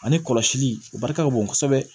Ani kɔlɔsili o barika ka bon kosɛbɛ